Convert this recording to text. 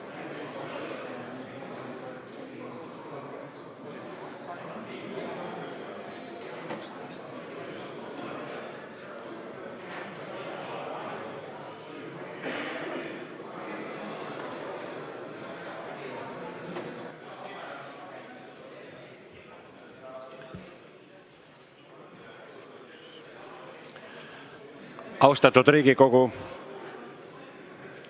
Austatud Riigikogu!